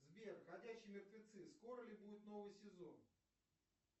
сбер ходячие мертвецы скоро ли будет новый сезон